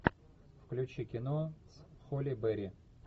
включи кино с холли берри